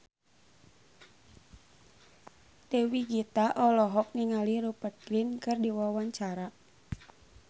Dewi Gita olohok ningali Rupert Grin keur diwawancara